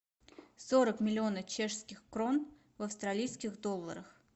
сорок миллионов чешских крон в австралийских долларах